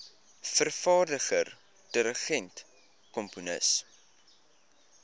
vervaardiger dirigent komponis